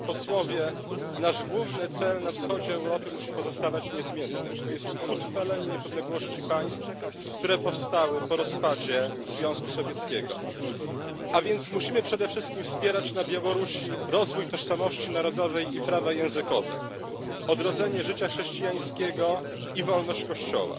Panie Przewodniczący! Nasz główny cel na wschodzie Europy musi pozostawać niezmienny, to jest utrwalenie niepodległości państw, które powstały po rozpadzie Związku Sowieckiego. A więc musimy przede wszystkim wspierać na Białorusi rozwój tożsamości narodowej i prawa językowe, odrodzenie życia chrześcijańskiego i wolność Kościoła,